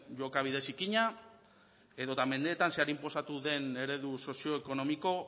jokabide zikina edota mendeetan zehar inposatu duten egoera sozioekonomiko